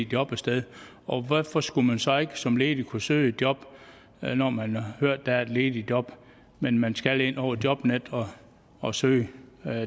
job et sted og hvorfor skulle man så ikke som ledig kunne søge et job når man har hørt at der er et ledigt job men man skal ind over jobnet og søge